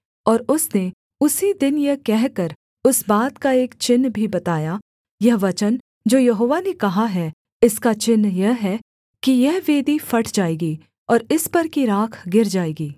और उसने उसी दिन यह कहकर उस बात का एक चिन्ह भी बताया यह वचन जो यहोवा ने कहा है इसका चिन्ह यह है कि यह वेदी फट जाएगी और इस पर की राख गिर जाएगी